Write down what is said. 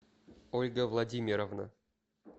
ольга владимировна